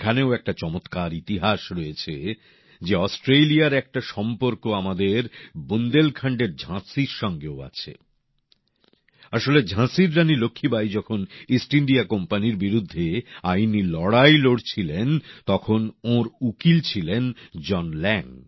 এখানেও একটা চমৎকার ইতিহাস রয়েছে যে অস্ট্রেলিয়ার একটা সম্পর্ক আমাদের বুন্দেলখন্ডের ঝাঁসির সঙ্গেও আছে আসলে ঝাঁসির রানী লক্ষ্মীবাঈ যখন ইস্ট ইন্ডিয়া কোম্পানির বিরুদ্ধে আইনি লড়াই লড়ছিলেন তখন ওঁর উকিল ছিলেন জন ল্যাঙ